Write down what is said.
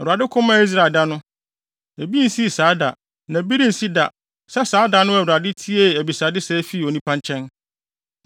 Awurade ko maa Israel da no. Ebi nsii saa da na bi rensi da sɛ saa da no a Awurade tiee abisade sɛɛ fii onipa nkyɛn.